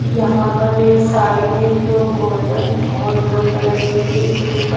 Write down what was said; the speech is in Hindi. यहां पर एक साड़ी है जो गोल्डन और ब्लू कलर की है इसके ऊपर--